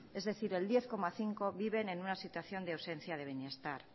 es decir el diez coma cinco viven en una situación de ausencia de bienestar